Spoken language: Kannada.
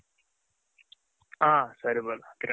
ಹ ಸರಿ ಕಿರಣ್